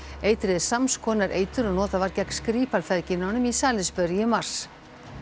eitrið er sams konar eitur og notað var gegn Skripal feðginunum í Salisbury í mars